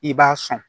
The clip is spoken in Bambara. I b'a sɔn